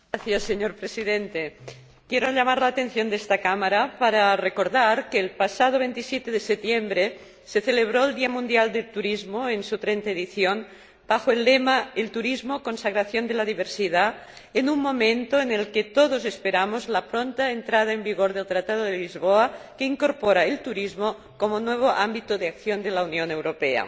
Señor Presidente, quiero llamar la atención de esta Cámara para recordar que el pasado 27 de septiembre se celebró el Día Mundial del Turismo en su trigésima edición bajo el lema El turismo, consagración de la diversidad, en un momento en que todos esperamos la pronta entrada en vigor del Tratado de Lisboa, que incorpora el turismo como nuevo ámbito de acción de la Unión Europea.